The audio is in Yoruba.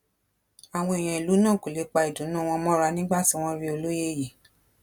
àwọn èèyàn ìlú náà kò lè pa ìdùnnú wọn mọra nígbà tí wọn rí olóye yìí